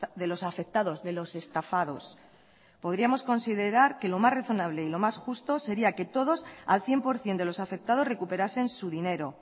de los afectados de los estafados podríamos considerar que lo más razonable y lo más justo sería que todos al cien por ciento de los afectados recuperasen su dinero